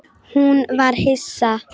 Hún var hissa.